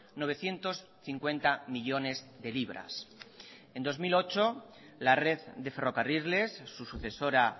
novecientos cincuenta millónes de libras en dos mil ocho la red de ferrocarriles su sucesora